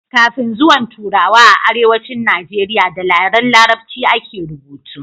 kafin zuwan turawa a arewacin najeriya da yaren larabci a ke rubutu